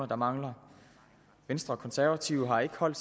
der mangler venstre og konservative har ikke holdt